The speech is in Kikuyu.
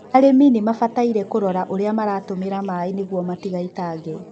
arĩmi nimabataire kũrora ũria maratũmĩra maĩ niguo matigaitange